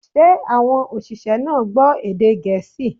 Ṣé àwọn òṣìṣẹ́ náà gbọ́ èdè Gẹ̀ẹ́sì?